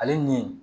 Ale nin